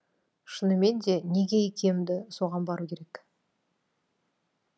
шынымен де неге икемді соған бару керек